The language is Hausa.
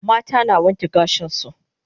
Mata na wanke gashin su